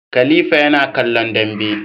Khalifa yana kallon Dambe